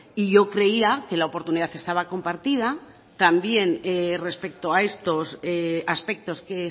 y yo creía que la oportunidad estaba compartida también respecto a estos aspectos que